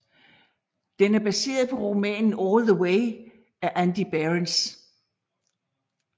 Den er baseret på romanen All the Way af Andy Behrens